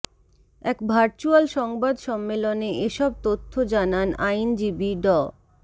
এক ভার্চুয়াল সংবাদ সম্মেলনে এসব তথ্য জানান আইনজীবী ড